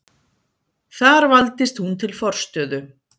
Þar valdist hún til forstöðu.